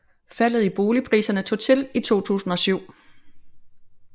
Faldet i boligpriserne tog til i 2007